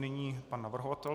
Nyní pan navrhovatel.